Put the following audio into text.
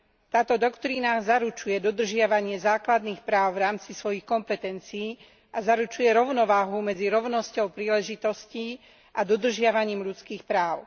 Táto doktrína zaručuje dodržiavanie základných práv v rámci svojich kompetencií a zaručuje rovnováhu medzi rovnosťou príležitostí a dodržiavaním ľudských práv.